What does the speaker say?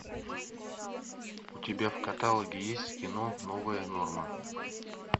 у тебя в каталоге есть кино новая норма